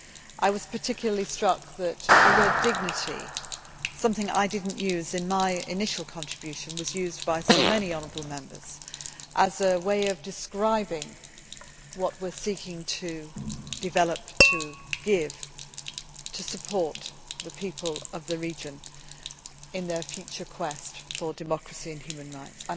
I was particularly struck that the word dignity' one I did not use in my initial contribution was used by so many honourable Members as a way of describing what we are seeking to develop as we support the people of the region in their future quest for democracy and human rights.